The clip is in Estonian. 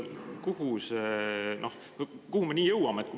Kuhu me nii jõuame?